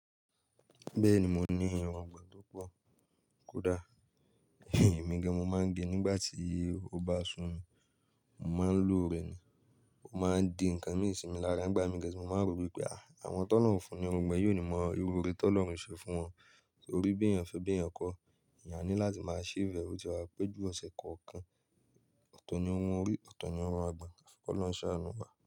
Bẹ́ẹ̀ni mo ní irungbọ̀n tó pọ̀, kódà Èmi gan mo máa ń ge nígbà tí ó bá sun mi, mo máa ń lo rẹ ni. Ó máa ń di nǹkan mí ìsinmi lára nígbà mí gẹ́ ṣé mo máa ń rò wípé àwọn t'ọ̀lorun o fún ni irùngbọ̀n yíò ní mọ irú ore tí Ọlọ́run ṣe fún wọn. Torí bí èèyàn fẹ́ bí èèyàn kọ́, èèyàn ní láti máa ṣí ìbẹ̀wọ̀ tí wà péjú ọ̀sẹ̀ kọ̀ọ̀kan. Òtò ni irun orí, ọ̀tọ̀ ni irun àgbon, ki Ọlọ́run ṣànù wà.